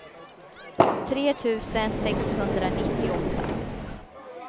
tre tusen sexhundranittioåtta